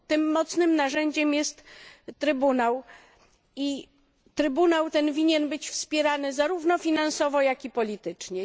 Tym mocnym narzędziem jest Trybunał i Trybunał ten winien być wspierany zarówno finansowo, jak i politycznie.